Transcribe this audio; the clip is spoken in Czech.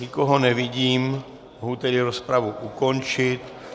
Nikoho nevidím, mohu tedy rozpravu ukončit.